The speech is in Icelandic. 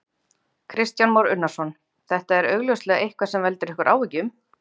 Kristján Már Unnarsson: Þetta er augljóslega eitthvað sem veldur ykkur áhyggjum?